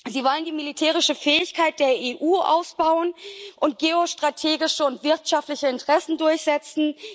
Sie wollen die militärische Fähigkeit der EU ausbauen und geostrategische und wirtschaftliche Interessen durchsetzen.